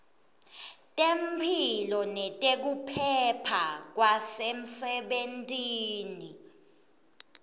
temphilo nekuphepha kwasemsebentini